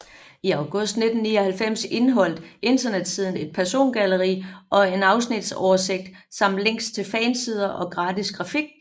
I august 1999 indeholdt internetsiden et persongalleri og en afsnitsoversigt samt links til fansider og gratis grafik